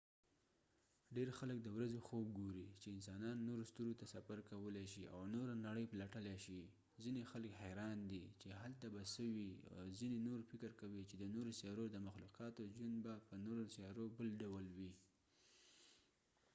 ډیر خلک د ورځې خوب ګوري چې انسانان نورو ستورو ته سفر کولی شي او نوره نړۍ پلټلی شي ځینې خلک حیران دي چې هلته به څه وي او ځینې نور فکر کوي چې د نورو سیارو د مخلوقاتو ژوند به په نورو سیارو بل ډول وي